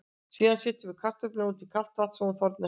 Síðan setjum við kartöfluna út í kalt vatn svo hún þorni ekki.